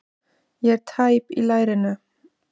Ég er tæp í lærinu.